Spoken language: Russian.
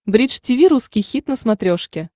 бридж тиви русский хит на смотрешке